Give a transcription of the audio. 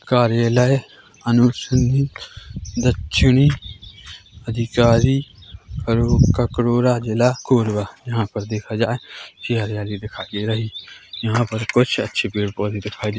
कार्यालय अनुसंधान दक्षिणी अधिकारी ककोरा जिला कोरबा यहां पर देखा जाए ये हरियाली दिखाई दे रही है यहां पर कुछ अच्छे पेड़ पौधे दिखाई दे--